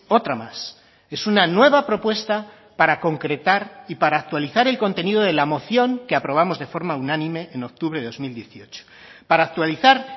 otra más es una nueva propuesta para concretar y para actualizar el contenido de la moción que aprobamos de forma unánime en octubre de dos mil dieciocho para actualizar